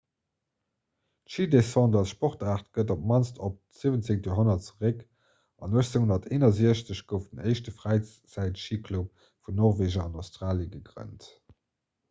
d'schidescente als sportaart geet op d'mannst op d'17. joerhonnert zeréck an 1861 gouf den éischte fräizäitschiclub vun norweger an australie gegrënnt